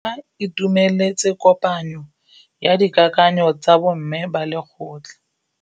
Ba itumeletse kôpanyo ya dikakanyô tsa bo mme ba lekgotla.